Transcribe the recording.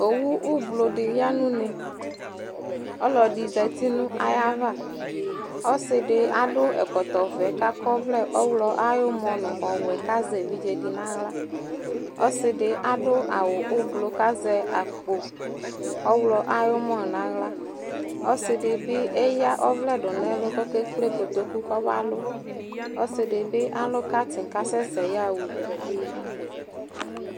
Owu ʋblɔ dɩ ya nʋ une Ɔlɔdɩ zati nʋ ayava Ɔsɩ dɩ adʋ ɛkɔtɔvɛ kʋ akɔ ɔvlɛ ɔɣlɔ ayʋ ʋmɔ nʋ ɔwɛ kʋ azɛ evidze dɩ nʋ aɣla Ɔsɩ dɩ adʋ awʋ ʋblɔ kʋ azɛ akpo ɔɣlɔ ayʋ ʋmɔ nʋ aɣla Ɔsɩ dɩ bɩ eyǝ ɔvlɛ dʋ nʋ ɛlʋ kʋ ɔkekple kotoku kɔbalʋ Ɔsɩ dɩ bɩ alʋ katɩn kʋ asɛsɛ yaɣa udu